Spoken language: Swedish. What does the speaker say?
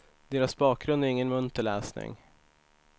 Deras bakgrund är ingen munter läsning.